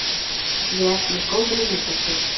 vel með góðri nautasteik.